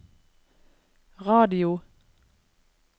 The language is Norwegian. radio